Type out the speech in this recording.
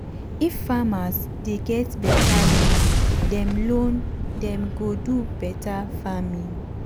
if farmers dey get beta loan dem loan them loan dem go do beta farming.